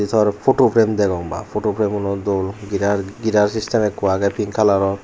jor photo frame degong baa photo frame uno dol gira system ekko agey pink kalaror .